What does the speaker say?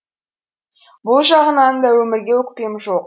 бұл жағынан да өмірге өкпем жоқ